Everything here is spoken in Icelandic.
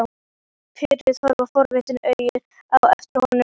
Píurnar horfa forvitnum augum á eftir honum.